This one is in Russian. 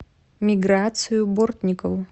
миграцию бортникову